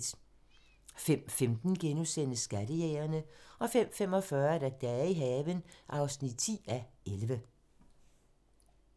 05:15: Skattejægerne * 05:45: Dage i haven (10:11)